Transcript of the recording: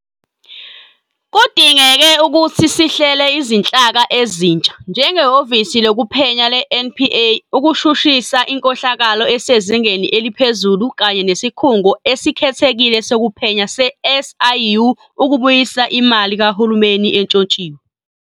Kudingeke ukuthi sihlele izinhlaka ezintsha, njengeHhovisi Lokuphenya le-NPA ukushushisa inkohlakalo esezingeni eliphezulu kanye neSikhungo Esikhethekile Sokuphenya se-SIU ukubuyisa imali kahulumeni entshontshiwe.